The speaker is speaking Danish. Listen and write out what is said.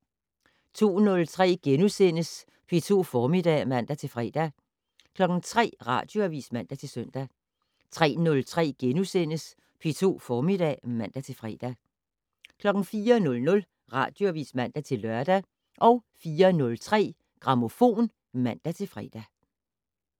02:03: P2 Formiddag *(man-fre) 03:00: Radioavis (man-søn) 03:03: P2 Formiddag *(man-fre) 04:00: Radioavis (man-lør) 04:03: Grammofon (man-fre)